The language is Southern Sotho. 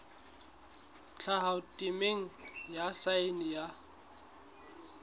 tlhaho temeng ya saense ya